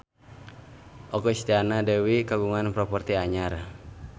Okky Setiana Dewi kagungan properti anyar